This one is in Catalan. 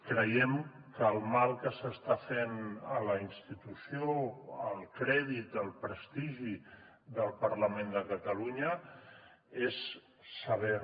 creiem que el mal que s’està fent a la institució al crèdit al prestigi del parlament de catalunya és sever